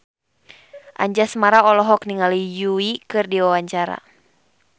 Anjasmara olohok ningali Yui keur diwawancara